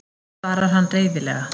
svarar hann reiðilega.